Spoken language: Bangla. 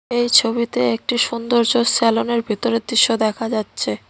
এই ছবিতে একটি সুন্দর্য্য সেলোনের ভিতরের দৃশ্য দেখা যাচ্ছে।